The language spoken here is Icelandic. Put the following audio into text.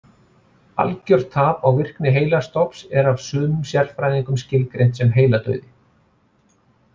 Algjört tap á virkni heilastofns er af sumum sérfræðingum skilgreint sem heiladauði.